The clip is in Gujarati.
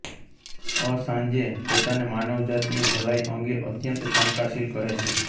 અસાંજે પોતાને માનવજાતની ભલાઈ અંગે અત્યંત શંકાશીલ કહે છે